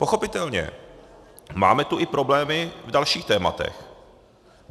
Pochopitelně máme tu i problémy v dalších tématech.